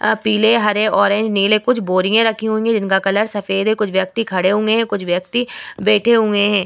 अ पीले हरे ऑरेंज नीले कुछ बोरिये रखी हुई है जिनका कलर सफ़ेद है कुछ व्यक्ति खड़े हुए है कुछ व्यक्ति बैठे हुए है।